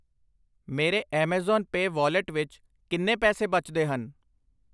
ਮੇਰੇ Amazon Pay wallet ਵਿੱਚ ਕਿੰਨੇ ਪੈਸੇ ਬਚਦੇ ਹਨ?